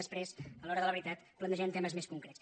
després a l’hora de la veritat plantegem te·mes més concrets